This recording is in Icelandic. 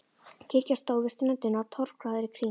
Kirkja stóð við ströndina og torfgarður í kring.